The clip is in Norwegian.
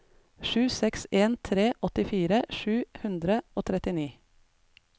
sju seks en tre åttifire sju hundre og trettini